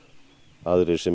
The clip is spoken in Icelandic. aðrir sem